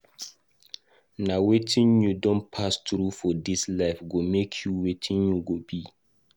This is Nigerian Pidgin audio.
Nah Wetin u don pass through for dis life, go make u wetin u go be